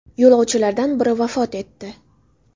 Yo‘lovchilardan biri vafot etdi.